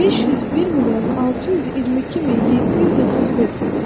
501 milyon 622 min 731.